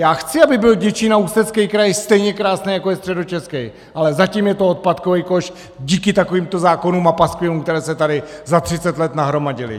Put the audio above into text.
Já chci, aby byl Děčín a Ústecký kraj stejně krásný jako je Středočeský, ale zatím je to odpadkový koš díky takovýmto zákonům a paskvilům, které se tady za 30 let nahromadily.